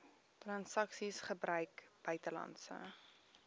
transaksies gebruik buitelandse